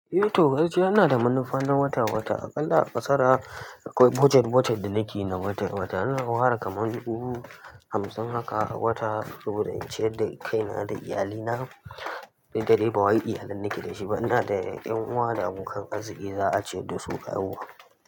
Eh to, gaskiya ina da manufa na wata-wata. Aƙalla aƙa sara akwai budget budget da nake yi na wata-wata. Ina ware kaman dubu hamsin haka a wata saboda in ciyar da kaina da iyalina. Duk da dai bawai iyalan nake da shi ba ina da 'yan uwa da abokan arziki da za a ciyar da su ka yauwa.